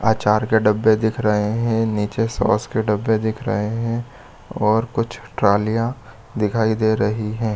आचार के डब्बे दिख रहे है नीचे सोर्स सॉस के डब्बे दिख रहे है और कुछ ट्रॉलियां दिखाई दे रही है।